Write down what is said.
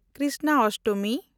Krishnashtami